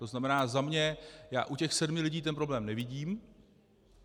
To znamená za mě: Já u těch sedmi lidí ten problém nevidím.